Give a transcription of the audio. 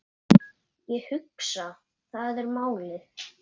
Ég hugsa, það er málið.